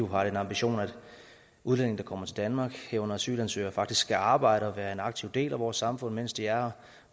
har den ambition at udlændinge der kommer til danmark herunder asylansøgere faktisk skal arbejde og være en aktiv del af vores samfund mens de er